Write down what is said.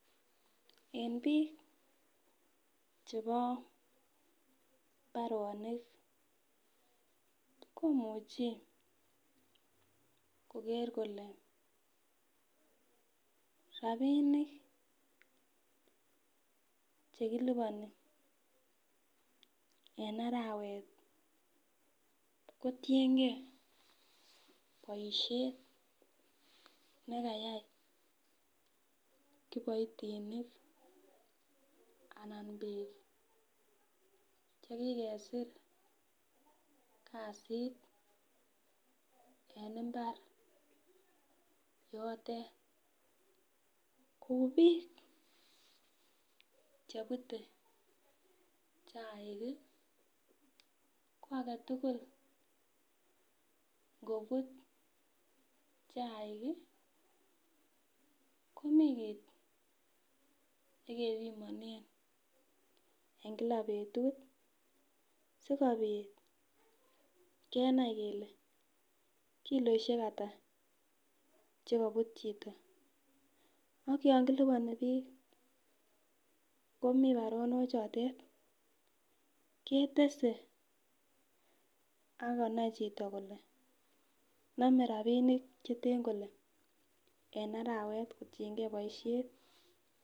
En biik chebo mbaronik komuche koker kole rapinik chekilipani en arawet, kotiengee boisiet nekayai kiboitinik anan biik chekikersir kasit en mbar yotet kou biik chebute chaik ko agetugul ngobut chaik komii kit nekebimonen en kila betut sikobit kenai kele kiloisiek hata chekobut chito ak yon kilipani biik komii baronochotet ketese akonai chito kole nome rapinik cheten kole en arawet kotienge boisiet.